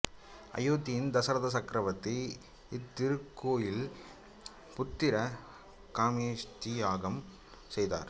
அயோத்தியின் தசரத சக்ரவர்த்தி இத்திருக்கோயிலில் புத்திர காமேஷ்டி யாகம் செய்தார்